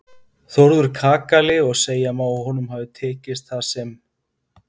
Þórður kakali og segja má að honum hafi tekist það sem